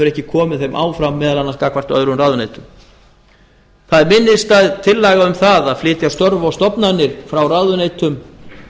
ekki komið þeim áfram meðal annars gagnvart öðrum ráðuneytum það er minnisstæð tillaga um það að flytja störf og stofnanir frá ráðuneytum